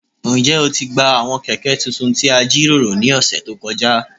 Njẹ o ti gba awọn kẹkẹ tuntun ti a jiroro ni ọsẹ to kọja?